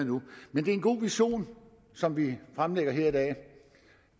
men det er en god vision som vi fremlægger her i dag